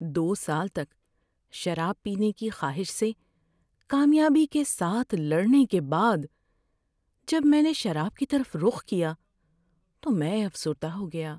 ‏دو سال تک شراب پینے کی خواہش سے کامیابی کے ساتھ لڑنے کے بعد جب میں نے شراب کی طرف رخ کیا تو میں افسردہ ہو گیا۔